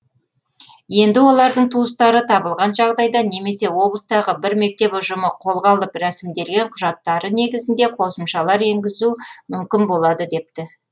енді олардың туыстары табылған жағдайда немесе облыстағы бір мектеп ұжымы қолға алып рәсімделген құжаттары негізінде қосымшалар енгізу мүмкін болады депті